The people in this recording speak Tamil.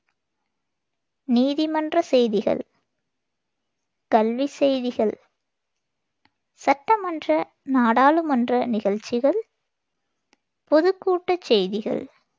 நீதிமன்றச் செய்திகள், கல்விச் செய்திகள், சட்டமன்ற, நாடாளுமன்ற நிகழ்ச்சிகள், பொதுக்கூட்ட செய்திகள்